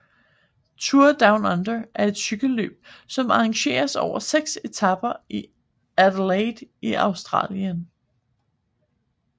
Tour Down Under er et cykelløb som arrangeres over seks etaper i Adelaide i Australien